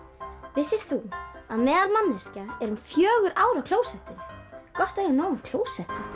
vissir þú að meðalmanneskja er um fjögur ár á klósettinu gott að eiga nógan klósettpappír